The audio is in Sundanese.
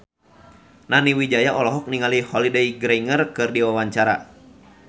Nani Wijaya olohok ningali Holliday Grainger keur diwawancara